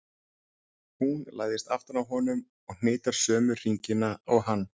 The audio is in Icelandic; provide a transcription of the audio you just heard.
Hún læðist aftan að honum og hnitar sömu hringina og hann.